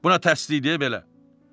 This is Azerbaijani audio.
Bu nə tərsliyidir belə?